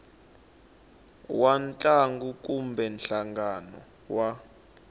wa ntlangu kumbe nhlangano wa